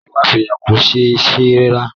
Ẹ̀wà sóyà kò ṣé sè rárá